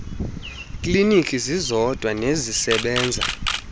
kliniki zizodwa nezisebenza